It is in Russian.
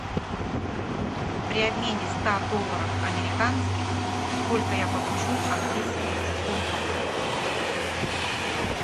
при обмене ста долларов американских сколько я получу английских фунтов